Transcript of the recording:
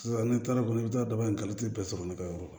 N'i taara kɔni i bɛ taa bagantigi bɛɛ sɔrɔ ne ka yɔrɔ la